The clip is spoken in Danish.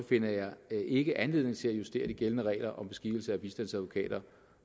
finder jeg ikke anledning til at justere de gældende regler om beskikkelse af bistandsadvokater